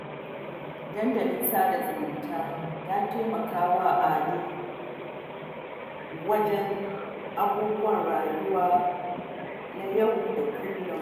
Dandalin sada zumunta ya taimaka wa Ado wajen sanin abubuwan rayuwa na yau da kullum